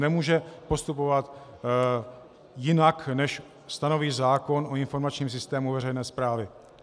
Nemůže postupovat jinak, než stanoví zákon o informačním systému veřejné správy.